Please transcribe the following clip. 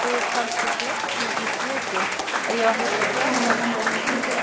Þú hefur kannski gleymt því í svipinn að ég á að heita fjármálastjóri fyrirtækisins?